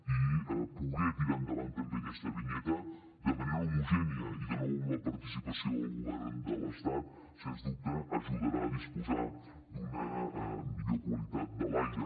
i poder tirar endavant també aquesta vinyeta de manera homogènia i de nou amb la participació del govern de l’estat sens dubte ajudarà a disposar d’una millor qualitat de l’aire